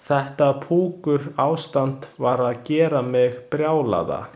Þetta pukurástand var að gera mig brjálaða.